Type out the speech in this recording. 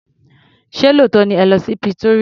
Ṣé lóòótọ́ ni ẹ lọ́ sí Pretoria.